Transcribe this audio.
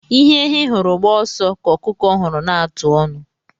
Ihe ehi hụrụ gbaa ọsọ ka ọkụkọ hụrụ na-ata ọnụ